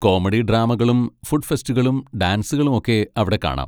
Comedy ഡ്രാമകളും food ഫെസ്റ്റുകളും ഡാൻസുകളും ഒക്കെ അവിടെ കാണാം.